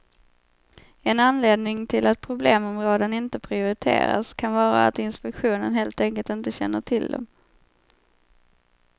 En anledning till att problemområden inte prioriteras kan vara att inspektionen helt enkelt inte känner till dem.